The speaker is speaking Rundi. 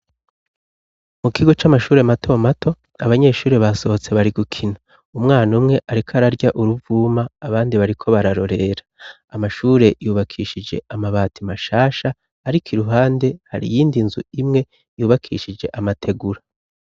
Mu kigo c'amashure mato mato, abanyeshuri basohotse bari gukina. umwana umwe ariko ararya uruvuma, abandi bariko bararorera. Amashure yubakishije amabati mashasha, ariko iruhande hari iyindi nzu imwe, yubakishije amategura.